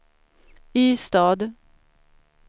Ystad